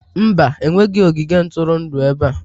Mba, enweghị ogige ntụrụndụ ebe a